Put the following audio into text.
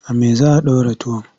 A me za a ɗora tuwon?